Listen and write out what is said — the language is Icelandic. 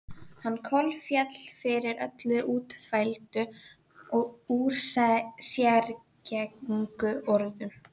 Hann kolféll fyrir öllum útþvældu og úrsérgengnu orðunum.